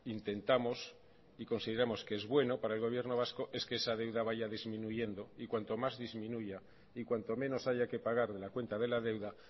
intentamos y consideramos que es bueno para el gobierno vasco es que esa deuda vaya disminuyendo y cuanto más disminuya y cuanto menos haya que pagar de la cuenta de la deuda